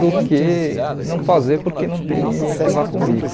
do que não fazer porque não tem ninguém que vá comigo.